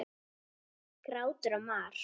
Grátur og mar.